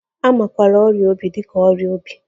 A makwaara ọrịa obi dị ka ọrịa obi.